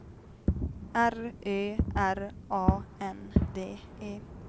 R Ö R A N D E